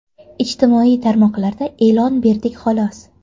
Ijtimoiy tarmoqlarda e’lon berdik xolos.